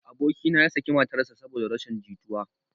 Aboki na ya saki matar sa saboda rashin jituwa